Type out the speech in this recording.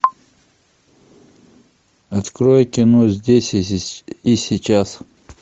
открой кино здесь и сейчас